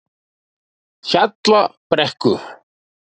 Hjallabrekku